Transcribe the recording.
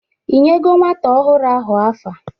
Ịnyego nwata ọhụrụ ahụ afa?